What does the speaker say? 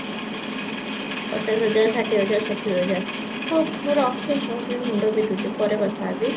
ପଚାଶ ହଜାର ଷାଠିଏ ହଜାର ସତୁରୀ ହଜାର ହଉ ମୁଁ ରଖେ ମୁଣ୍ଡ ବିନ୍ଧୁଛି ପରେ କଥା ହେବି